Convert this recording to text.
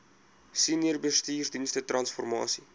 senior bestuursdienste transformasie